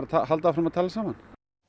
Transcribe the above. að halda áfram að tala saman